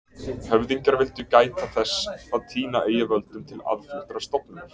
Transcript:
Höfðingjar vildu gæta þess að týna eigi völdum til aðfluttrar stofnunar.